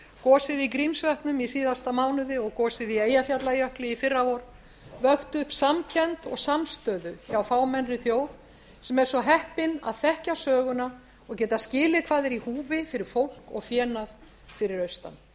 gosið í grímsvötnum í síðasta mánuði og gosið í eyjafjallajökli í fyrravor vöktu upp samkennd og samstöðu hjá fámennri þjóð sem er svo heppinn að þekkja söguna og geta skilið hvað er í húfi fyrir fólk og fénað fyrir austan